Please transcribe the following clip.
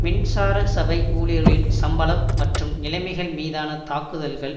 மின்சார சபை ஊழியர்களின் சம்பளம் மற்றும் நிலைமைகள் மீதான தாக்குதல்கள்